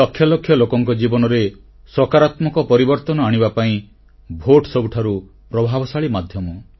ଲକ୍ଷ ଲକ୍ଷ ଲୋକଙ୍କ ଜୀବନରେ ସକାରାତ୍ମକ ପରିବର୍ତ୍ତନ ଆଣିବା ପାଇଁ ଭୋଟ ସବୁଠାରୁ ପ୍ରଭାବଶାଳୀ ମାଧ୍ୟମ